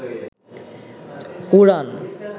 কুরআন